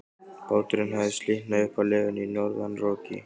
Báturinn hafði slitnað upp af legunni í norðanroki.